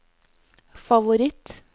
favoritt